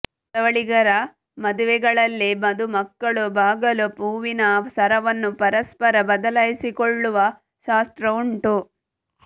ಕರಾವಳಿಗರ ಮದುವೆಗಳಲ್ಲಿ ಮದುಮಕ್ಕಳು ಬಾಗಾಳು ಹೂವಿನ ಸರವನ್ನು ಪರಸ್ಪರ ಬದಲಾಯಿಸಿಕೊಳ್ಳುವ ಶಾಸ್ತ್ರ ಉಂಟು